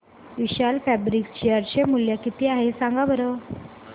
विशाल fabrics share चे मूल्य किती आहे सांगा बरं